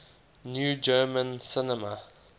new german cinema